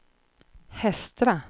Hestra